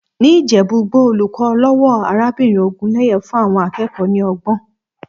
Ní Ìjẹ̀bú-Igbó, olùkọ́ ọlọ́wọ̀ arábìnrin Ògúnlẹ́yẹ fún àwọn akẹ́kọ̀ọ́ ní ọgbọ́n.